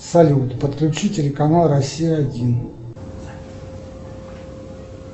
салют подключи телеканал россия один